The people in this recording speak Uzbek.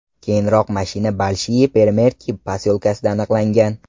Keyinroq mashina Bolshiye Peremerki posyolkasida aniqlangan.